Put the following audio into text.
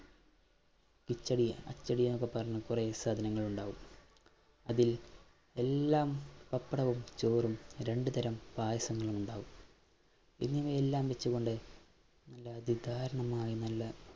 കിച്ചടി, അച്ചടി എന്നൊക്കെ പറഞ്ഞു കൊറേ സാധനങ്ങൾ ഉണ്ടാവും അതിൽ എല്ലാം പപ്പടവും, ചോറും രണ്ടു തരം പായസങ്ങളുമുണ്ടാവും എന്നിവയെല്ലാം വച്ചുകൊണ്ട് നല്ല നല്ല